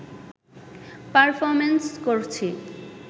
performance করছি